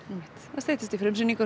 það styttist í frumsýningu eins